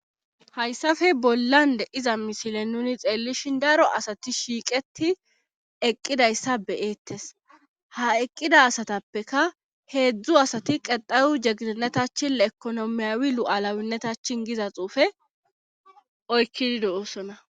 Hayssafe bollande iza misile nuni xeellishin daro asati shiiqeti eqqidayssa be7eettes ha eqqida asatappeka heedzdzu asati qexayu jeginetachini ekonomiyawi lu7alawinnetachin giza xuufe oykkidi do7oosona.